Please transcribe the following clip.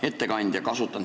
Hea ettekandja!